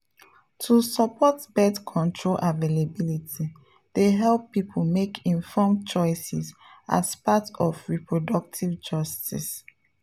to support birth control availability dey help people make informed choices as part of reproductive justice.